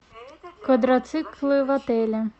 квадроциклы в отеле